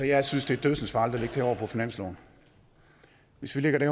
jeg synes det er dødsensfarligt at her over på finansloven hvis vi lægger det